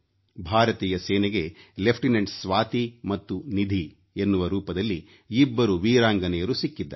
ಭಾರತೀಯ ಸೇನೆಗೆ ಲೆಫ್ಟಿನೆಂಟ್ ಸ್ವಾತಿ ಮತ್ತು ನಿಧಿ ಎನ್ನುವ ರೂಪದಲ್ಲಿ ಇಬ್ಬರು ವೀರಾಂಗನೆಯರು ಸಿಕ್ಕಿದ್ದಾರೆ